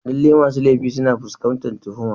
Lallai masu laifi suna fuskantar tuhuma.